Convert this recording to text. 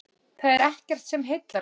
Það er ekkert sem heillar mig.